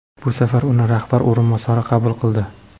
Bu safar uni rahbar o‘rinbosari qabul qildi.